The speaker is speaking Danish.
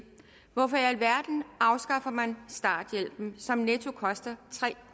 hvorfor i alverden afskaffer man starthjælpen som netto koster tre